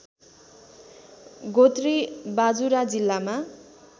गोत्री बाजुरा जिल्लामा